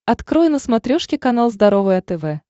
открой на смотрешке канал здоровое тв